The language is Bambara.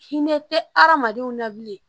Hinɛ tɛ adamadenw na bilen